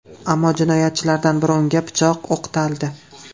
Ammo jinoyatchilardan biri unga pichoq o‘qtaldi.